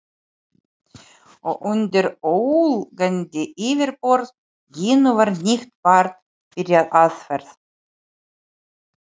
Og undir ólgandi yfirborði Gínu var nýtt barn byrjað vegferð.